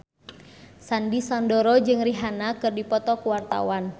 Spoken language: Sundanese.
Sandy Sandoro jeung Rihanna keur dipoto ku wartawan